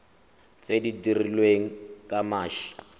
tse di dirilweng ka mashi